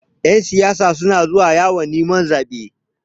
Ƴan siyasa suna zuwa yawon neman zaɓe.